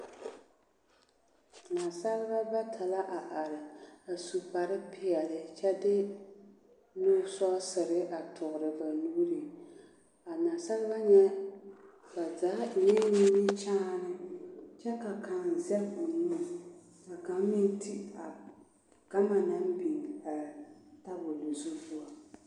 Naasaalba bata la a are a su kparrepeɛli kyɛ de nu sɔɔsere a toore ba nuuri a naasalba nyɛ ba zaa eŋɛɛ nimikyaan kyɛ ka kaŋ zɛg o nu ka kaŋ meŋ ti a gama naŋ biŋ a tabol zu poɔ.